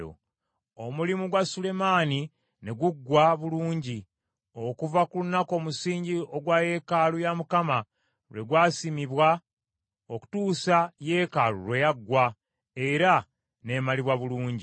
Omulimu gwa Sulemaani ne guggwa bulungi okuva ku lunaku omusingi ogwa yeekaalu ya Mukama lwe gwa simibwa okutuusa yeekaalu lwe yaggwa, era n’emalibwa bulungi.